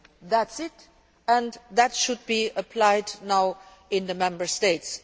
That is that and that should be applied now in the Member States.